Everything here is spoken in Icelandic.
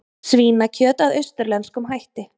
Svínakjöt að austurlenskum hætti